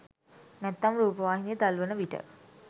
නැත්නම් රූපවාහිනිය දල්වන විට.